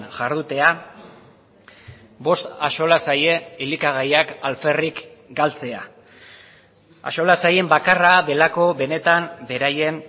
jardutea bost axola zaie elikagaiak alferrik galtzea axola zaien bakarra delako benetan beraien